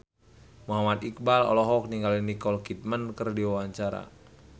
Muhammad Iqbal olohok ningali Nicole Kidman keur diwawancara